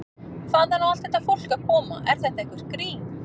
Hvaðan á allt þetta fólk að koma, er þetta eitthvert grín?